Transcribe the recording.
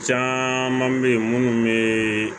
Caaman be minnu bee